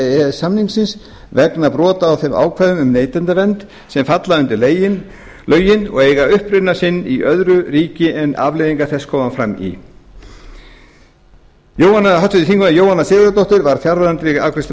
e s samningsins vegna brota á þeim ákvæðum um neytendavernd sem falla undir lögin og eiga uppruna sinn í öðru ríki en afleiðingar þess koma fram í háttvirtir þingmenn jóhanna sigurðardóttir var fjarverandi við afgreiðslu